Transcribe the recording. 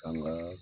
Kan ga